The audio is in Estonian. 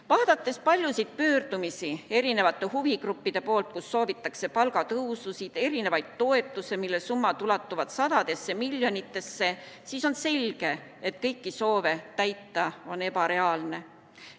Vaadates huvigruppide paljusid pöördumisi, kus soovitakse palgatõususid, toetusi, mille summad ulatuvad sadadesse miljonitesse, siis on selge, et kõiki soove täita on ebareaalne.